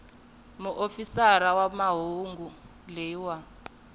muofisiri wa mahungu loyi a